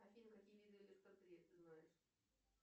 афина какие виды ты знаешь